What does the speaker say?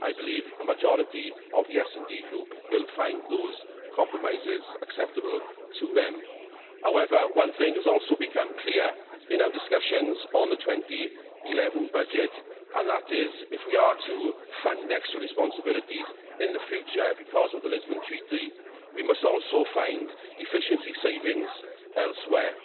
I believe the majority of the SD Group will find those compromises acceptable to them. One thing, however, has also become clear in our discussions on the 2011 budget, and that is if we are to fund extra responsibilities in the future because of the Lisbon Treaty, we must also find efficiency savings elsewhere.